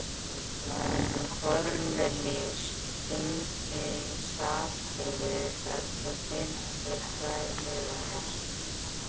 Kornelíus, hringdu í Sabínu eftir fimmtíu og tvær mínútur.